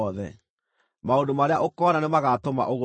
Maũndũ marĩa ũkoona nĩ magaatũma ũgũrũke.